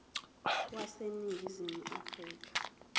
wase ningizimu afrika